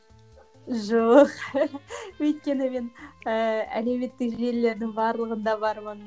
жоқ өйткені мен ііі әлеуметтік желілердің барлығында бармын